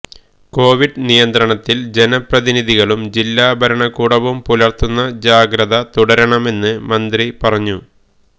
Covid നിയന്ത്രണത്തില് ജനപ്രതിനിധികളും ജില്ലാ ഭരണകൂടവും പുലര്ത്തുന്ന ജാഗ്രത തുടരണമെന്ന് മന്ത്രി പറഞ്ഞു